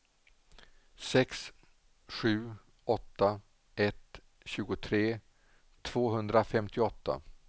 sex sju åtta ett tjugotre tvåhundrafemtioåtta